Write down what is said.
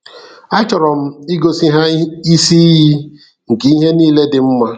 A chọrọ m igosi ha isi iyi nke ihe niile dị mma.